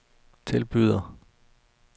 tilbyder